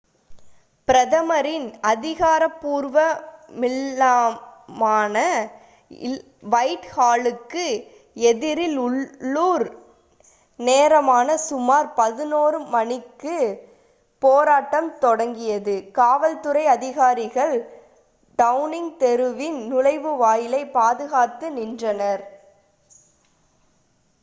பிரதமரின் அதிகாரபூர்வ இல்லமான வைட் ஹாலுக்கு எதிரில் உள்ளூர் நேரமான சுமார் 11:00 மணிக்கு utc+1 போராட்டம் தொடங்கியது. காவல்துறை அதிகாரிகள் டவுனிங் தெருவின் நுழைவாயிலை பாதுகாத்து நின்றனர்